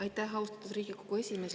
Aitäh, austatud Riigikogu esimees!